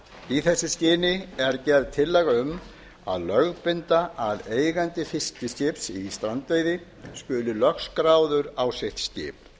í þessu skyni er gerð tillaga um að lögbinda að eigandi fiskiskips í strandveiði skuli lögskráður á sitt skip